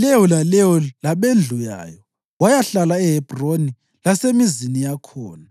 leyo laleyo labendlu yayo, bayahlala eHebhroni lasemizini yakhona.